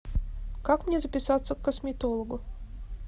как мне записаться к косметологу